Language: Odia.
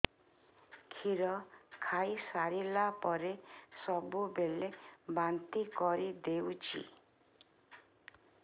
କ୍ଷୀର ଖାଇସାରିଲା ପରେ ସବୁବେଳେ ବାନ୍ତି କରିଦେଉଛି